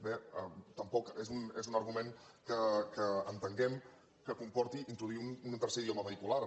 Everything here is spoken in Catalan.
bé tampoc és un argument que entenguem que comporti introduir un tercer idioma vehicular